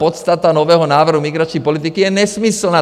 Podstata nového návrhu migrační politiky je nesmyslná.